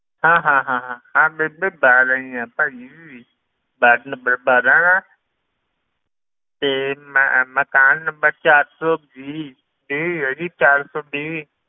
ਹਾਂ ਹਾਂ ਹਾਂ ਹਾਂ ਹਾਂ ਬੀਬੀ ਬਾਰਾਂ ਹੀ ਆ ਭਾਈ ਵਾਰਡ number ਬਾਰਾਂ ਤੇ ਮ~ ਮਕਾਨ number ਚਾਰ ਸੌ ਵੀਹ ਵੀਹ ਹੈ ਜੀ ਚਾਰ ਸੌ ਵੀਹ